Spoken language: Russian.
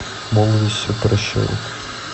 молодость все прощает